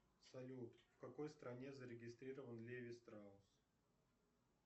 салют в какой стране зарегистрирован леви страусс